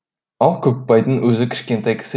ал көпбайдың өзі кішкентай кісі